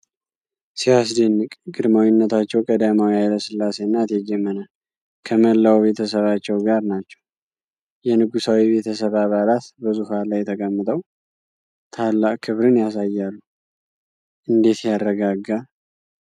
ሲያስደንቅ! ግርማዊነታቸው ቀዳማዊ ኃይለ ሥላሴና እቴጌ መነን ከመላው ቤተሰባቸው ጋር ናቸው። የንጉሣዊ ቤተሰብ አባላት በዙፋን ላይ ተቀምጠው፣ ታላቅ ክብርን ያሳያሉ። እንዴት ያረጋጋል!